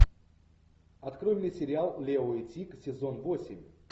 открой мне сериал лео и тиг сезон восемь